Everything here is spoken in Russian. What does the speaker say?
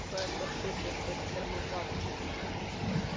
а то я что-то слышал что теперь мы в августе сдаём